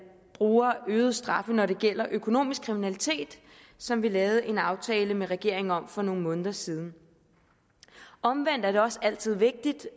bruger øgede straffe når det gælder økonomisk kriminalitet som vi lavede en aftale med regeringen om for nogle måneder siden omvendt er det også altid vigtigt